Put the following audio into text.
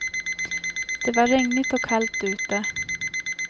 Det var regnigt och kallt ute.